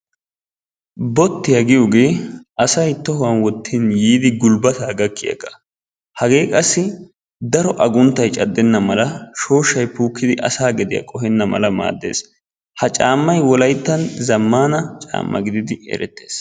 Bottiya giyigee asay tohuwan wottin yiidi gulbbataa gakkiyagaa. Hagee qassi daro agunttay caddenna mala, shooshshay kiyidi asaa gediya puukkenna mala maaddes. Ha caammay Wolayttan zammaana caammaa gididi erettees.